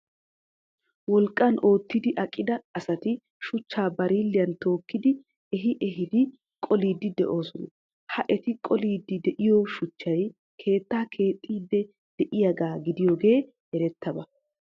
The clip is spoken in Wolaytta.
Wolqqan ootti aqida asati shuchchaa bareellan tookkidi ehi ehiidi qoliiddi de'oosona. Ha eti qoliiddi de'iyo shuchchay keettaa keexxiiddi deiyogaa gidiyogee erettidaba.